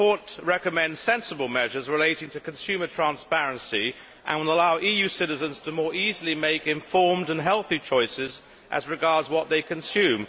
The report recommends sensible measures relating to consumer transparency and will allow EU citizens to more easily make informed and healthy choices as regards what they consume.